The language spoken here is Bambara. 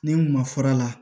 Ni n kun ma fura la